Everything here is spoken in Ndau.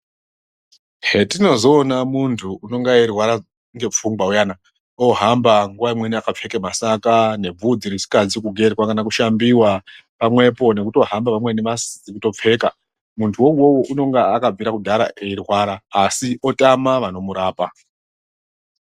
Hetinozoona muntu unonga eirwara ngepfungwa uyana ohamba nguwa imweni akapfeke masaka nebvudzi risikazi kugerwa kana kushambiwa pamwepo nekutohamba pamweni asikazi kutopfeka muntu wouwowo unonga akabvira kudhara eirwara asi otama anomurapa.